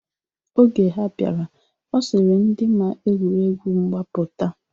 Oge ha bịara, ọ sịrị ndị ma egwuregwu mgba pụta.